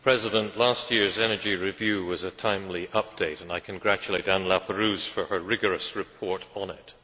Mr President, last year's energy review was a timely update, and I congratulate Anne Laperrouze for her rigorous report on it.